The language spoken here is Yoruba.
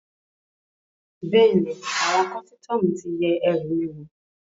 Bẹ́ẹ̀ni, àwọn kọ́sítọ́mù ti yẹ ẹrù mi wò